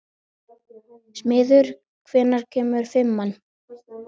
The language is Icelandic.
Smiður, hvenær kemur fimman?